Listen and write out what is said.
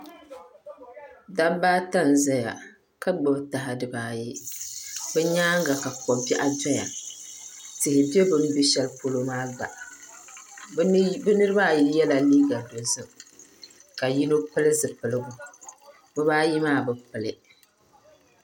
Dabba ata n ʒɛya ka gbubi foon dibaayi o nyaanga ka ko biɛɣu doya tihi bɛ bi sani ka yino pili zipiligu bibaayi maa bi pili